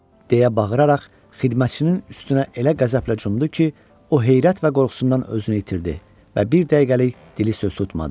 Deyə bağıraraq xidmətçinin üstünə elə qəzəblə cumdu ki, o heyrət və qorxusundan özünü itirdi və bir dəqiqəlik dili söz tutmadı.